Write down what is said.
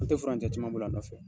An tɛ furancɛ caman boli a nɔfɛ.